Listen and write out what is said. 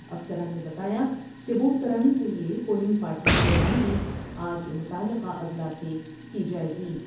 افسران نے بتایا کہ ووٹ کرانے کے لئے پولنگ پارٹیوں کی روانگی آج متعلقہ اضلاع سے کی جاۓ گی ۔